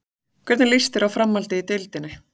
Hvernig lýst þér á framhaldið í deildinni?